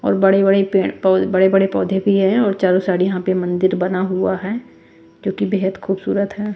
और बड़े-बड़े पेड़ बड़े-बड़े पौधे भी हैं और चारों साइड यहाँ पे मंदिर बना हुआ है जो कि बेहद खूबसूरत है।